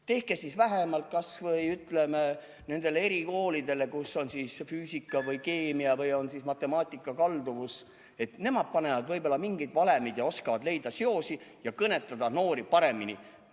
Tehke siis kasvõi nendele erikoolidele, kus on füüsika või keemia või matemaatika kallak – nemad panevad mingeid valemeid ja oskavad leida seoseid ning kõnetada noori paremini.